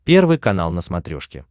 первый канал на смотрешке